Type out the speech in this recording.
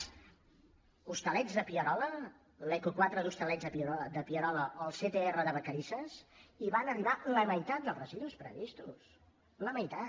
als hostalets de pierola l’eco quatre dels hostalets de pierola o al ctr de vacarisses hi van arribar la meitat dels residus previstos la meitat